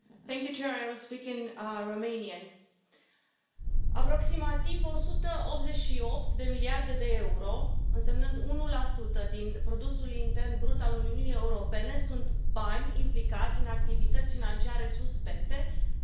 Doamna președintă, aproximativ 188 de miliarde de euro, însemnând 1 din produsul intern brut al Uniunii Europene sunt bani implicați în activități financiare suspecte în fiecare an.